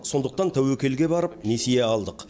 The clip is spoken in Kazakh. сондықтан тәуекелге барып несие алдық